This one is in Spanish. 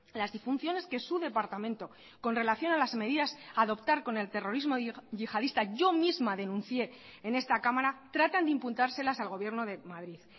las disfunciones que su departamento con relación a las medidas adoptar con el terrorismo yihadista yo misma denuncie en esta cámara tratan de imputárselas al gobierno de madrid